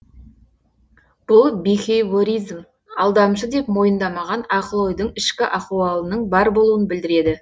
бұл бихейворизм алдамшы деп мойындамаған ақыл ойдың ішкі ахуалының бар болуын білдіреді